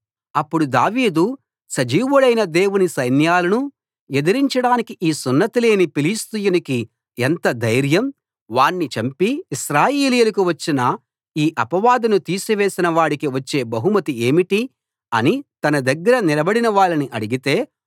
అప్పుడు దావీదు సజీవుడైన దేవుని సైన్యాలను ఎదిరించడానికి ఈ సున్నతి లేని ఫిలిష్తీయునికి ఎంత ధైర్యం వాణ్ణి చంపి ఇశ్రాయేలీయులకు వచ్చిన ఈ అపవాదును తీసివేసిన వాడికి వచ్చే బహుమతి ఏమిటి అని తన దగ్గర నిలబడినవాళ్ళని అడిగితే